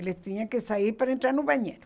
Eles tinham que sair para entrar no banheiro.